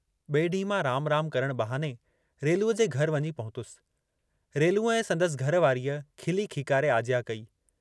बिए डींहं मां राम राम करण बहाने रेलूअ जे घर वञ पहुतुस, रेलूअ ऐं संदसि घर वारीअ खिली खीकारे आजयां कई।